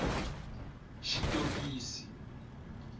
xitokisi